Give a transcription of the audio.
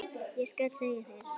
Ég skal segja þér,